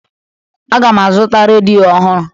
Aga m azụta redio ọhụrụ